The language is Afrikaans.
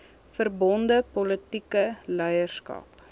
verbonde politieke leierskap